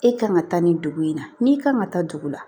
E kan ka taa nin dugu in na n'i kan ka taa dugu la